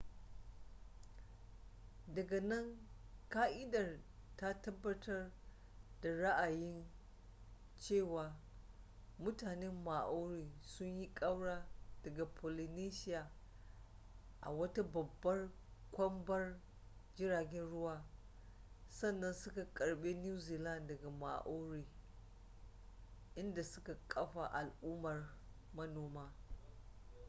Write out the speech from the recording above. daga nan ƙa'idar ta tabbatar da ra'ayin cewa mutanen maori sun yi kaura daga polynesia a wata babbar kwambar jiragen ruwa sannan suka karbe new zealand daga moriori inda suka kafa al'ummar manoma